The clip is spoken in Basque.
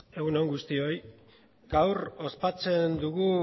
egun on guztioi gaur ospatzen dugu